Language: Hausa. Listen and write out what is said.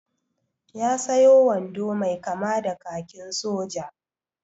Ya sayo wando mai kama da kakin soja.